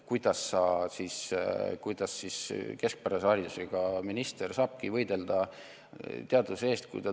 Kuidas keskpärase haridusega minister saabki võidelda teaduse eest?